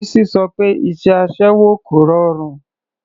Bísí sọ pé iṣẹ́ aṣẹ́wó kò rọrùn.